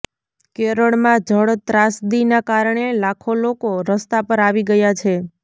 કેરળમાં જળ ત્રાસદીના કારણે લાખો લોકો રસ્તા પર આવી ગયા છે